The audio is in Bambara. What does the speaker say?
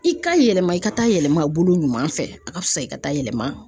I ka yɛlɛma i ka taa yɛlɛmabolo ɲuman fɛ a ka fisa i ka taa yɛlɛma